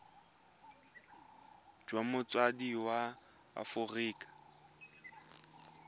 jwa motsadi wa mo aforika